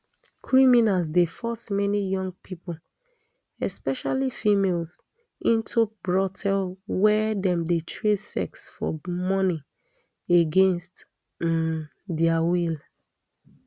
criminals dey force many young pipo especially females into brothel wia dem dey trade sex for money against um dia will